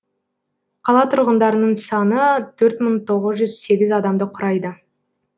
қала тұрғындарының саны төрт мың тоғыз жүз сегіз адамды құрайды